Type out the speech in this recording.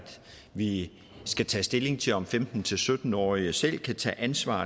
vi skal tage stilling til om femten til sytten årige selv kan tage ansvar